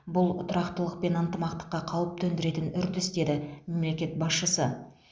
бұл тұрақтылық пен ынтымаққа қауіп төндіретін үрдіс деді мемлекет басшысы